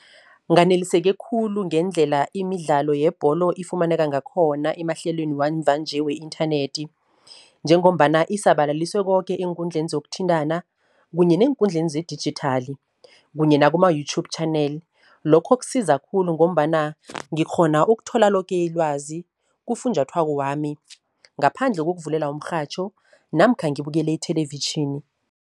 Nganeliseke khulu ngendlela imidlalo yebholo ifumaneka ngakhona emahlelweni wamva nje we-inthanethi, njengombana isabalaliswe koke eenkundleni zokuthintana, kunye neenkundleni zedijithali, kunye nakuma-YouTube channel. Lokho kusiza khulu ngombana ngikghona ukuthola loke ilwazi kufunjathwako wami, ngaphandle kokuvulela umrhatjho namkha ngibukele ithelevitjhini.